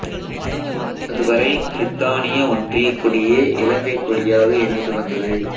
அதுவரை பிரித்தானிய ஒன்றியக் கொடியே இலங்கை கொடியாக இருந்து வந்தது